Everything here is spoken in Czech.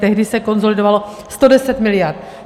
Tehdy se konsolidovalo 110 mld.